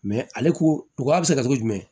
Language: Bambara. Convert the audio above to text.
ale ko a bi se ka kɛ cogo jumɛn